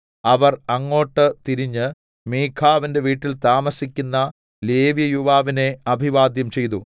അവർ അങ്ങോട്ട് തിരിഞ്ഞ് മീഖാവിന്റെ വീട്ടിൽ താമസിക്കുന്ന ലേവ്യയുവാവിനെ അഭിവാദ്യം ചെയ്തു